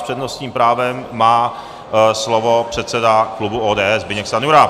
S přednostním právem má slovo předseda klubu ODS Zbyněk Stanjura.